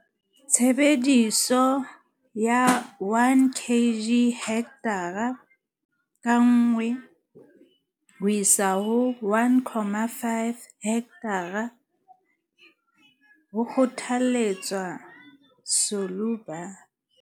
Tshebediso ya 1 kg - hekthara ka nngwe ho isa ho 1, 5 kg hekthara, ho kgothaletswa Solubor.